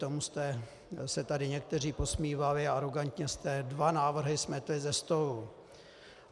Tomu jste se tady někteří posmívali a arogantně jste dva návrhy smetli ze stolu.